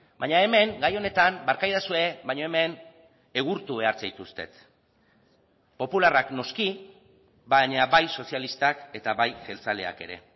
baina hemen gai honetan barkaidazue baina hemen egurtu behar zaituztet popularrak noski baina bai sozialistak eta bai jeltzaleak ere